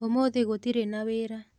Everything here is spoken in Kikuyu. ũmũthĩ gũtirĩ na wĩra